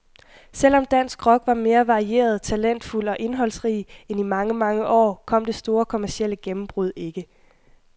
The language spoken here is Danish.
Selv om dansk rock var mere varieret, talentfuld og indholdsrig end i mange, mange år, kom det store kommercielle gennembrud ikke.